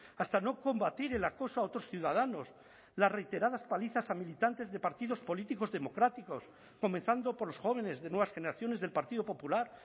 hasta no combatir el acoso a otros ciudadanos las reiteradas palizas a militantes de partidos políticos democráticos comenzando por los jóvenes de nuevas generaciones del partido popular